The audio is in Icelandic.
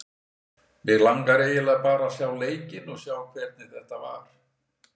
Mig langar eiginlega bara að sjá leikinn og sjá hvernig þetta var.